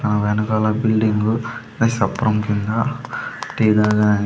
ఆ వెనకాల బిల్డింగు ని సప్రమ్ కింద టీ దాగ--